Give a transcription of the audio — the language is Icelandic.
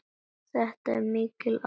Hvað er þetta mikil aðgerð?